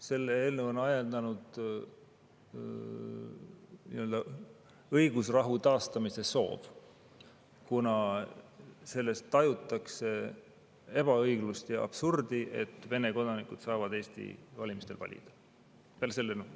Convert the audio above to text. Selle eelnõu on ajendanud nii-öelda õigusrahu taastamise soov, kuna selles, et Vene kodanikud saavad Eesti valimistel valida, tajutakse ebaõiglust ja absurdi, eriti sõja taustal.